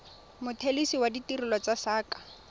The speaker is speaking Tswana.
mothelesi wa ditirelo tsa saqa